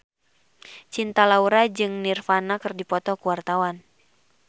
Cinta Laura jeung Nirvana keur dipoto ku wartawan